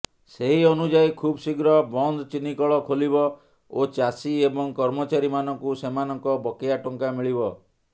ସେହି ଅନୁଯାୟୀ ଖୁବଶୀଘ୍ର ବନ୍ଦ ଚିନିକଳ ଖୋଲିବ ଓ ଚାଷୀ ଏବଂ କର୍ମଚାରୀମାନଙ୍କୁ ସେମାନଙ୍କ ବକେୟା ଟଙ୍କା ମିଳିବ